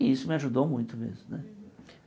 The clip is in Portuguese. E isso me ajudou muito mesmo né.